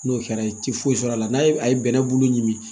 N'o kɛra i ti foyi sɔrɔ a la n'a ye bɛnɛ bulu ɲimi